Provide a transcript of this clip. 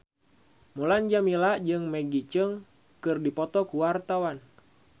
Mulan Jameela jeung Maggie Cheung keur dipoto ku wartawan